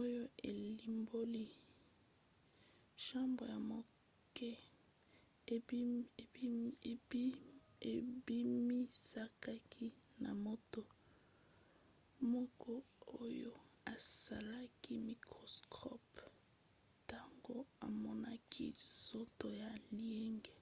oyo elimboli chambre ya moke ebimisamaki na moto moko oyo asalaki microscope ntango amonaki nzoto ya liège